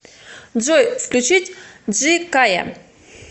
джой включить джи кае